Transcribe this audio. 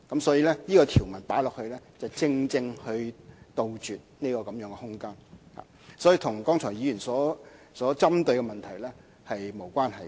所以，加入這項條文，正正可以杜絕這空間，便與議員剛才所針對的問題沒有關係。